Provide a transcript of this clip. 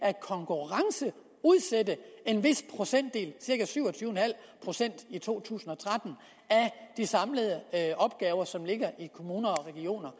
at konkurrenceudsætte en vis procentdel cirka syv og tyve en halv procent i to tusind og tretten af de samlede opgaver som ligger i kommuner og regioner